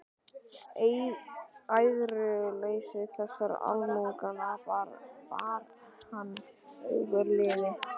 Æðruleysi þessara almúgamanna bar hann ofurliði.